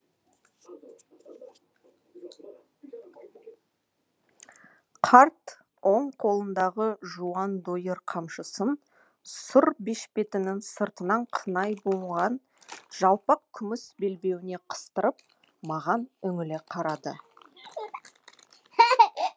қарт оң қолындағы жуан дойыр қамшысын сұр бешпетінің сыртынан қынай буынған жалпақ күміс белбеуіне қыстырып маған үңіле қарады